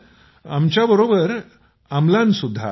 आपल्या बरोबर आमलान सुद्धा आहे